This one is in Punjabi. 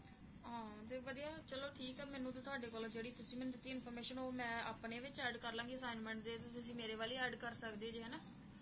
ਚਲੋ ਠੀਕ ਏ ਫੇਰ ਮੈਨੂੰ ਤੁਹਾਡੇ ਵੱਲੋਂ ਜਿਹੜੀ ਤੁਸੀਂ ਮੈਨੂੰ ਦਿੱਤੀ information ਮੈਂ ਆਪਣੇ ਵਿਚ add ਕਰਲਾਂਗੀ assignment ਦੇ ਵਿਚ ਤੇ ਤੁਸੀਂ ਆਪਣੇ ਚ add ਕਰ ਸਕਦੇ ਜੇ ਹੈ ਨਾ